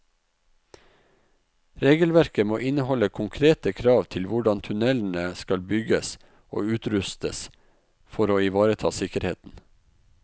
Regelverket må inneholde konkrete krav til hvordan tunnelene skal bygges og utrustes for å ivareta sikkerheten.